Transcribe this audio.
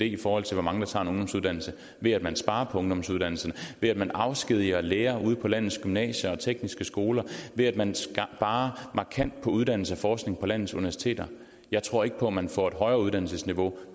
i forhold til hvor mange der tager en ungdomsuddannelse ved at man sparer på ungdomsuddannelserne ved at man afskediger lærere ude på landets gymnasier og tekniske skoler og ved at man sparer markant på uddannelse og forskning på landets universiteter jeg tror ikke på at man får et højere uddannelsesniveau